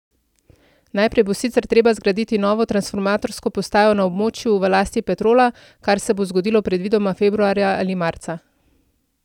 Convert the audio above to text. Najprej bo sicer treba zgraditi novo transformatorsko postajo na območju v lasti Petrola, kar se bo zgodilo predvidoma februarja ali marca.